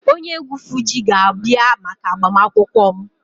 Onye egwu Fuji ga-abia maka agbamakwụkwọ m